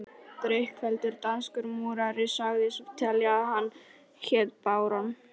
Drykkfelldur danskur múrari sagðist telja að hann héti barón